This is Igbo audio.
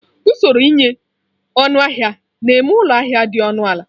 Usoro ịnye ọnụahịa na eme ụlọ ahịa dị ọnụ ala.